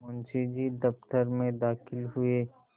मुंशी जी दफ्तर में दाखिल हुए